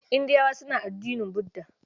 Indiyawa suna addinin Budda.